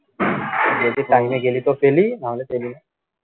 যদি time এ গেলি তো পেলি নাহলে পেলি না